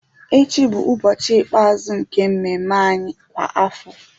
Echi bụ ụbọchị ikpeazụ nke mmemme anyị kwa afọ